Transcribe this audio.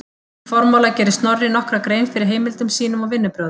Í formála gerir Snorri nokkra grein fyrir heimildum sínum og vinnubrögðum.